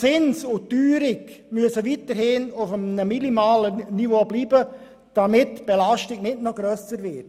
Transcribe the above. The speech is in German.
Zins und Teuerung müssen weiterhin auf einem minimalen Niveau bleiben, damit die Belastung nicht noch grösser wird.